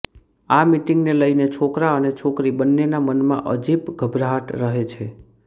આ મીટીંગ ને લઈને છોકરા અને છોકરી બંનેના મનમાં અજીબ ઘબરાહટ રહે છે